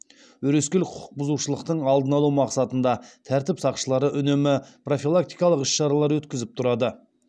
өрескел құқық бұзушылықтың алдын алу мақсатында тәртіп сақшылары үнемі профилактикалық іс шаралар өткізіп тұрады